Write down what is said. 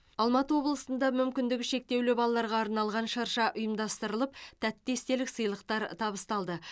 алматы облысында мүмкіндігі шектеулі балаларға арналған шырша ұйымдастырып тәтті естелік сыйлықтар табыстады